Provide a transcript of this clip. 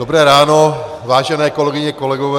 Dobré ráno, vážené kolegyně, kolegové.